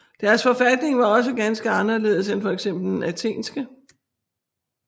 Deres forfatning var også ganske anderledes end fx den athenske